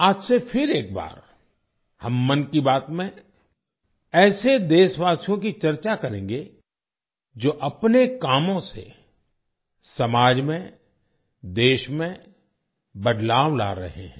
आज से फिर एक बार हम 'मन की बात' में ऐसे देशवासियों की चर्चा करेंगे जो अपने कामों से समाज में देश में बदलाव ला रहे हैं